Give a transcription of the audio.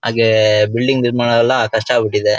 ಹಾಗೇ ಬಿಲ್ಡಿಂಗ್ ನಿರ್ಮಾಣವೆಲ್ಲ ಕಷ್ಟ ಆಗ್ಬಿಟ್ಟಿದೆ.